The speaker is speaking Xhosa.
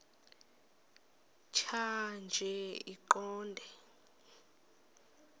tjhaya nje iqondee